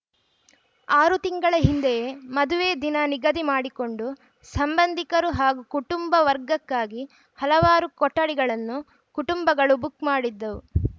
ಆರು ತಿಂಗಳ ಹಿಂದೆಯೇ ಮದುವೆ ದಿನ ನಿಗದಿ ಮಾಡಿಕೊಂಡು ಸಂಬಂಧಿಕರು ಹಾಗೂ ಕುಟುಂಬ ವರ್ಗಕ್ಕಾಗಿ ಹಲವಾರು ಕೊಠಡಿಗಳನ್ನು ಕುಟುಂಬಗಳು ಬುಕ್‌ ಮಾಡಿದ್ದವು